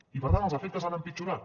i per tant els efectes han empitjorat